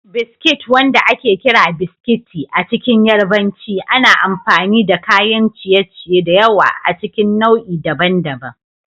Biskit, wanda ake kira "Biskiti" a cikin Yarbanci, ana amfani da kayan ciye-ciye da yawa a cikin nau'i daban-daban.